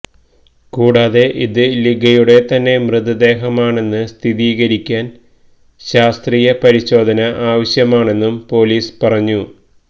കൂടാതെ ഇത് ലിഗയുടെ തന്നെ മൃതദേഹമാണെന്ന് സ്ഥിരീകരിക്കാന് ശാസ്ത്രീയ പരിശോധന ആവശ്യമാണെന്നും പോലീസ് പറഞ്ഞു